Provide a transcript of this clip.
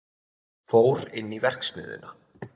Fór inn í verksmiðjuna.